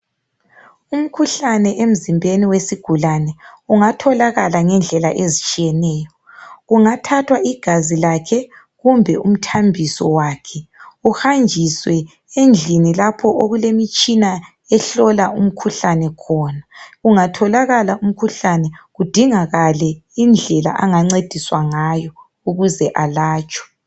Umkhuhlane emzimbeni wesigulane, ungatholakala ngendlela ezitshiyeneyo. Kungathathwa igazi lakhe, kumbe umthambiso wakhe. Uhanjiswe endlini lapha okulemitshina, ehlola imikhuhlane khona. Ungatholakala umkhuhlane, kudingwe indlela angancediswa ngazo, ukuze elatshwe